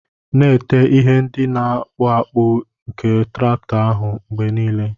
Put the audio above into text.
Na-ete ihe ndị na-akpụ akpụ nke traktọ ahụ mgbe nile.